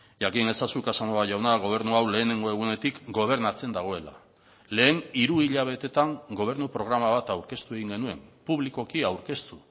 jakin ezazu casanova jauna gobernua hau lehenengo egunetik gobernatzen dagoela lehen hiru hilabetetan gobernu programa bat aurkeztu egin genuen publikoki aurkeztu